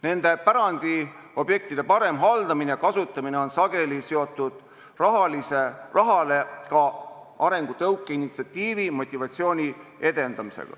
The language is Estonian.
Nende pärandiobjektide parem haldamine ja kasutamine on sageli seotud peale raha ka arengutõuke, initsiatiivi, motivatsiooni edendamisega.